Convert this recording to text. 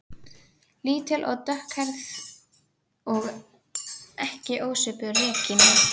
Lítil og dökkhærð og ekki ósvipuð Regínu